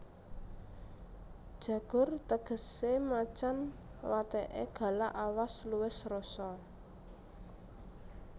Jagur tegesé macan wateké galak awas luwes rosa